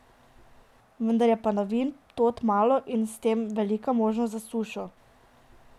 Vendar je padavin tod malo in s tem velika možnost za sušo.